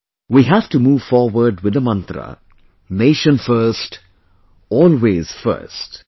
We have to move forward with the mantra 'Nation First, Always First'